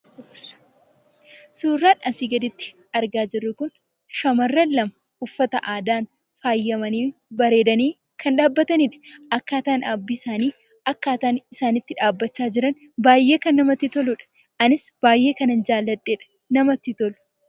Suuraan asi gaditti argaa jirru kun, shamarra lama uffata aadaan faayamani ,bareedani kan dhabbatanidha. akkataan dhabbii isaanii, akkataan isaan itti dhabbacha jiran baay'ee kan namatti toludha. anis baay'ee kanaan jaalladheedha. namatti tolu.